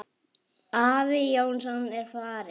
Afi Jónsson er farinn.